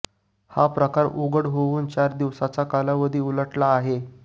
हा प्रकार उघड होऊन चार दिवसाचा कालावधी उलटला आहे